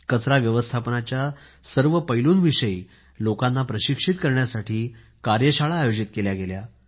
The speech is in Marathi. कचरा व्यवस्थापनाच्या सर्व पैलूंविषयी लोकांना प्रशिक्षित करण्यासाठी कार्य शाळा आयोजित केल्या गेल्या